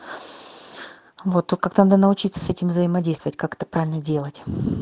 вот тут как то надо научиться с этим взаимодействовать как это правильно делать